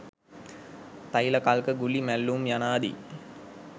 තෛල කල්ක ගුලි මැල්ලූම් යනාදී